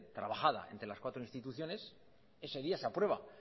trabajada entre las cuatro instituciones ese día se aprueba